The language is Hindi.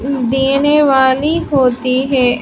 देने वाली होती है।